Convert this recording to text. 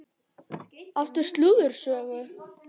Áttu slúðursögu?